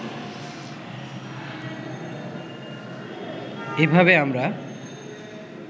এভাবে আমরা